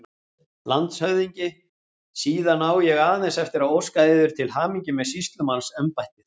LANDSHÖFÐINGI: Síðan á ég aðeins eftir að óska yður til hamingju með sýslumannsembættið!